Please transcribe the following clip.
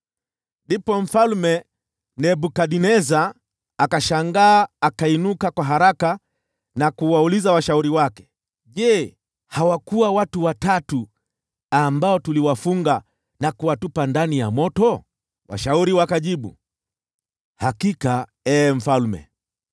Ndipo Mfalme Nebukadneza akashangaa, akainuka kwa haraka na kuwauliza washauri wake, “Je, hawakuwa watu watatu ambao tuliwafunga na kuwatupa ndani ya moto?” Washauri wakajibu, “Hakika, ee mfalme.”